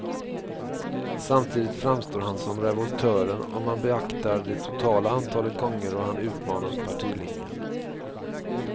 Samtidigt framstår han som revoltören om man beaktar det totala antalet gånger då han utmanat partilinjen.